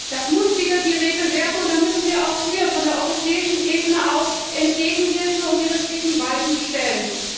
Das muss wieder die Regel werden, und da müssen wir auch von der europäischen Ebene aus hinwirken und die richtigen Weichen stellen.